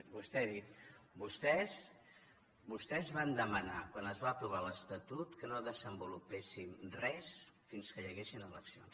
vostè ha dit vostès van demanar quan es va aprovar l’estatut que no desenvolupéssim res fins que hi haguessin eleccions